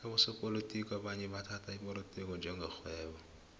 abosopolotiki abanye bathhatha ipolotiki njenge rhwebo